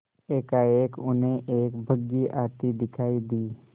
एकाएक उन्हें एक बग्घी आती दिखायी दी